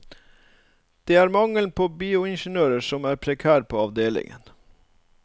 Det er mangelen på bioingeniører som er prekær på avdelingen.